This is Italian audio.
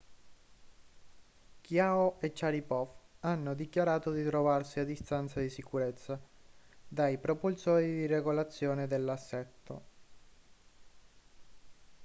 chiao e sharipov hanno dichiarato di trovarsi a distanza di sicurezza dai propulsori di regolazione dell'assetto